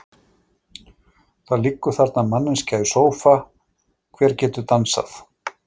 Það liggur þarna manneskja í sófa, hver getur dansað?